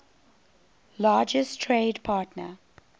largest trade partner